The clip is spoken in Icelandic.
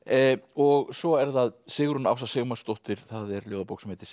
og svo er það Sigrún Ása Sigmarsdóttir það er ljóðabók sem heitir